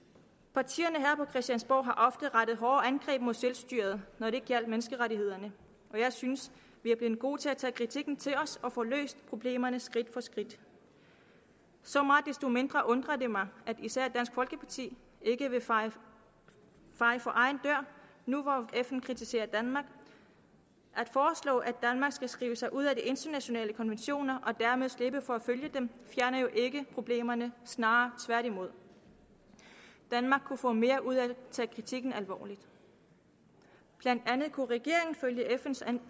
partierne her på christiansborg har ofte rettet hårde angreb mod selvstyret når det gjaldt menneskerettighederne jeg synes vi er blevet gode til at tage kritikken til os og få løst problemerne skridt for skridt så meget desto mere undrer det mig at især dansk folkeparti ikke vil feje for egen dør nu hvor fn kritiserer danmark at foreslå at danmark skal skrive sig ud af de internationale konventioner og dermed slippe for at følge dem fjerner jo ikke problemerne snarere tværtimod danmark kunne få mere ud af at tage kritikken alvorligt blandt andet kunne regeringen følge fn’s